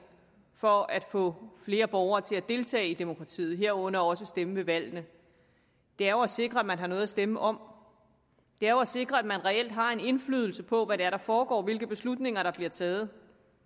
for at få flere borgere til at deltage i demokratiet herunder også stemme ved valgene er jo at sikre at man har noget at stemme om det er jo at sikre at man reelt har en indflydelse på hvad der foregår og hvilke beslutninger der bliver taget